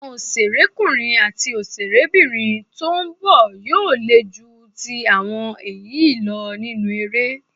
Àwọn òṣèrékùnrin àti òṣèrébìnrin tó ń bọ̀ yóò le ju ti àwọn èyí lọ nínú eré.